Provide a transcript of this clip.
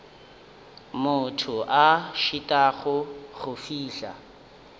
motho a šitwago go fihla